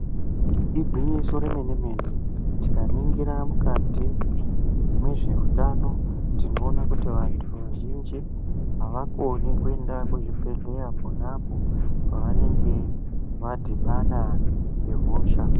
Igwinyiso remene mene, tikaningira mukati mwezveutano, tinoona kuti vantu vazhinji avakoni kuenda kuzvibhedhlera ponapo pavanenge vadhibana ngehosha.